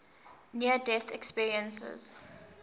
near death experiences